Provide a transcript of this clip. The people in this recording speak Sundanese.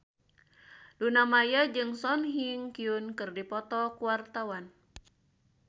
Luna Maya jeung Song Hye Kyo keur dipoto ku wartawan